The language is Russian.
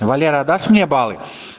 валера дашь мне баллы